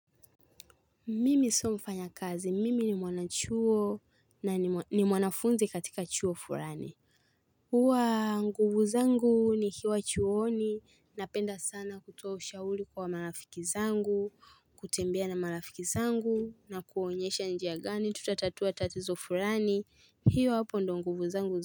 Mimi sio mfanya kazi mimi ni mwanachuo na ni mwanafunzinkatika chuo furani huwa nguvu zangu nikiwa chuooni napenda sana kutoa ushauri kwa marafiki zangu kutembea na marafiki zangu na kuonyesha njia gani tutatatua tatizo fulani hiyo hapo ndo nguvu zangu zangu.